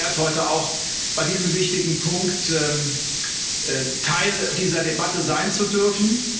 Ich fühle mich geehrt, heute auch bei diesem wichtigen Punkt Teil dieser Debatte sein zu dürfen.